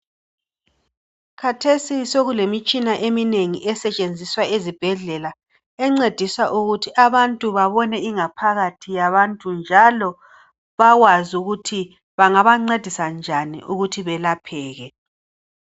Khathesi sokulemitshina eminengi esetshenziswa ezibhedlela encedisa ukuthi abantu babone ingaphakathi yabantu .Njalo bakwazi ukuthi bangabancedisa njani ukuthi belapheke .